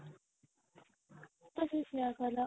ତ ସେ ସେଇୟା କହିଲା